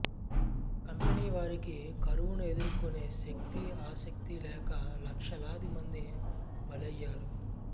company వారికి కరువును ఎదుర్కొనే శక్తి ఆసక్తి లేక లక్షలాది మంది బలయ్యారు